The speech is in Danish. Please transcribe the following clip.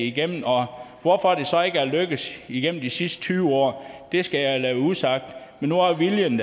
igennem og hvorfor det så ikke er lykkedes igennem de sidste tyve år skal jeg lade være usagt men nu er viljen